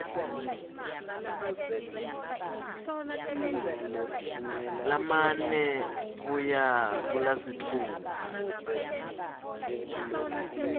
lamane kuya kulasitfupha